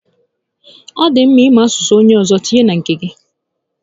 Ọ dị mma ị mụ asụsụ onyé ọzọ tinyere nke gị